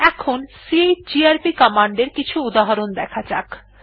এখন chgrp command এর কিছু উদাহরণ দেখা যাক